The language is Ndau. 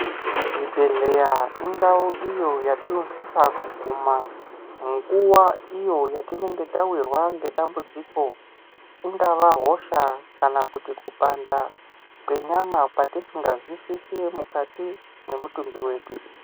Zvibhedhleya indau iyo yatinosisa kuguma nguva iyo yatinenge tavirwa ngedambudziko. Ingava hosha kana kuti kupanda kwenyama kwatisingazwisisi mukati mwemutumbi vedu.